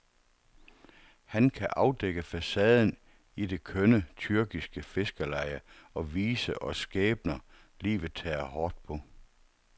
Han kan afdække facaden i det kønne, tyrkiske fiskerleje og vise os skæbner, livet tager hårdt på.